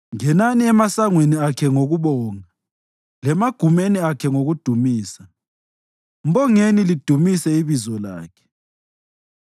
Ngenani emasangweni akhe ngokubonga lemagumeni akhe ngokudumisa; mbongeni lidumise ibizo lakhe.